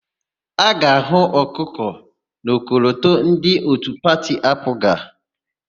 A ga-ahụ ọkụkọ n'ọkọlọtọ ndị òtù pati AaPụga.